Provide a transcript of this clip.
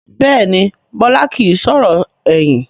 Bẹ́ẹ̀ni Bọlá kìí sọ̀rọ̀ ẹ̀yìn